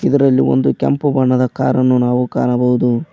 ಇದರಲ್ಲಿ ಒಂದು ಕೆಂಪು ಬಣ್ಣದ ಕಾರ ನ್ನು ನಾವು ಕಾಣಬಹುದು.